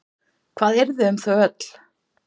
Hvað yrði um þau öll?